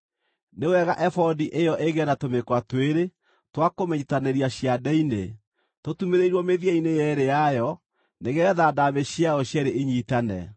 Nĩ wega ebodi ĩyo ĩgĩe na tũmĩkwa twĩrĩ twa kũmĩnyiitithanĩria ciande-inĩ, tũtumĩrĩirwo mĩthia-inĩ yeerĩ yayo nĩgeetha ndaamĩ ciayo cierĩ inyiitane.